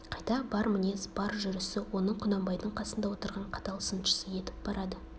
қайта бар мінез бар жүрісі оны құнанбайдың қасында отырған қатал сыншысы етіп барады